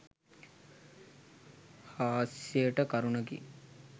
හාස්‍යයට කරුණකි.